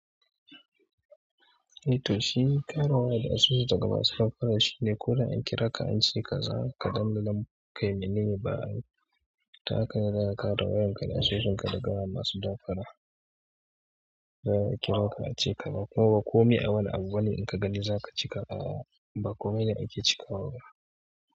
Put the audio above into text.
Eh to shi kare waya da asusu daga masu damfara shine ko da an kira ka an ce ka za ka ɗanɗana kai mene ne ba'a yi. Ta hakane zaka kare wayanka da asusunka daga masu damfara. Zai a kira ka an ce ka zo kuma ba komai a wani abu wanda in ka gani za ka ci kawa ba komai ne ake ci kawa.